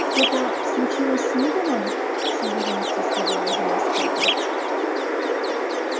что то случилось с уидоном с уверенностью сказала жена скотта